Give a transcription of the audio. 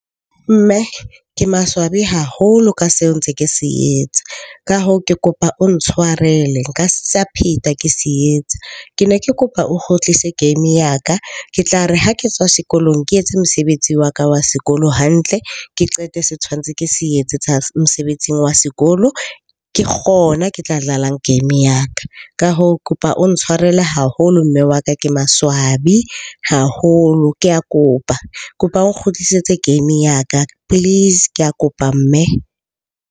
Mme ke maswabi haholo ka seo ntse ke se etsa. Ka hoo, ke kopa o ntshwarele nka sa pheta ke se etsa. Ke ne ke kopa o kgutlise game ya ka ke tla re ha ke tswa sekolong, ke etse mosebetsi wa ka wa sekolo hantle. Ke qete se tshwantse ke se etse tsa mosebetsing wa sekolo, ke kgona ke tla dlalang game ya ka. Ka hoo, ke kopa o ntshwarele haholo mme wa ka ke maswabi haholo. Ke a kopa, ke kopa o kgutlisetse game ya ka please. Ke a kopa mme.